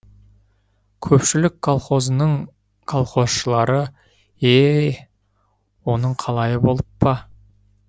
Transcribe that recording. көпшілік колхозының колхозшылары е е оның қалайы болып па